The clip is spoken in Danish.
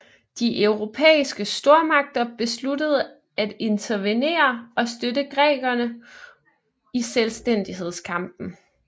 De europæiske stormagter besluttede at intervenere og støtte grækerne i selvstændighedskampen